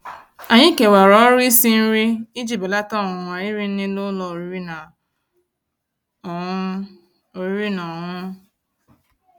Ànyị́ kèwàrà ọ̀rụ́ ísi nrí íji bèlàtà ọ̀nwụ̀nwa írì nrí n'ụ́lọ̀ ọ̀rị́rị́ ná ọ̀ṅụ̀ṅụ̀. ọ̀rị́rị́ ná ọ̀ṅụ̀ṅụ̀.